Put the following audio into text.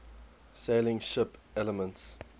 sailing ship elements